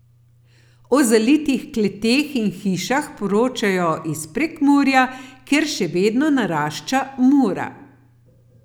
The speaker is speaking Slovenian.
O zalitih kleteh in hišah poročajo iz Prekmurja, kjer še vedno narašča Mura.